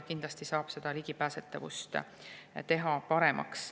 Kindlasti saab ligipääsetavust teha paremaks.